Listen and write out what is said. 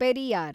Periyar